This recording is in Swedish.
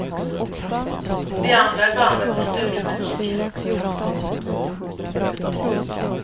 De andra i bandet är studiomusiker.